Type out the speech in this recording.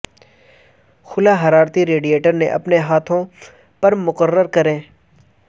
خلا حرارتی radiator کے اپنے ہاتھوں پر مقرر کریں